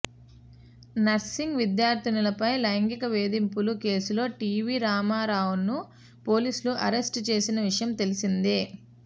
nursing విద్యార్థినులపై లైంగిక వేధింపుల కేసులో టీవీ రామారావును పోలీసులు అరెస్టు చేసిన విషయం తెలిసిందే